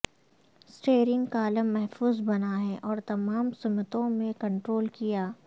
steering column محفوظ بنا ہے اور تمام سمتوں میں کنٹرول کیا